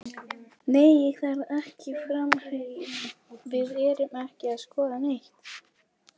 Nei ég þarf ekki framherja, við erum ekki að skoða neitt.